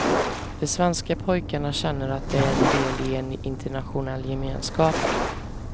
De svenska pojkarna känner att de är en del i en internationell gemenskap.